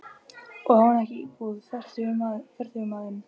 Og á hann ekki íbúð, fertugur maðurinn?